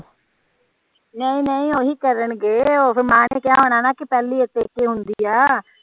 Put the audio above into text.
ਨਹੀਂ ਨਹੀਂ ਓਹੀ ਕਰਣਗੇ ਓਹਦੀ ਮਾਂ ਨੇ ਕਿਹਾ ਹੋਣਾ ਨਾ ਕੇ ਪੇਹਲੀ ਪੇਕੇ ਹੁੰਦੀ ਆ